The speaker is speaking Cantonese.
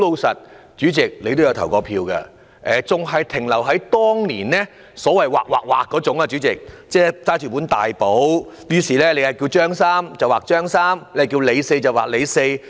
主席，你也曾投過票，你也知道查核身份證的程序還一如當年，即是由職員拿着一本大簿劃、劃、劃，你若叫"張三"便劃掉"張三"，你若是"李四"便劃"李四"。